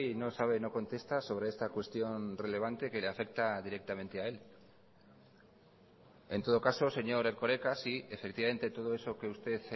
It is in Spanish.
no sabe no contesta sobre esta cuestión relevante que le afecta directamente a él en todo caso señor erkoreka sí efectivamente todo eso que usted